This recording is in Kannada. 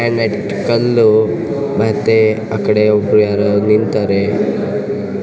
ಗ್ರಾನೈಟ್ ಕಲ್ಲು ಮತ್ತೆ ಆಕಡೆ ಒಬ್ಬ್ರು ಯಾರೋ ನಿಂತಾರೆ.